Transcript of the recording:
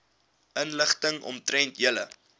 inligting omtrent julle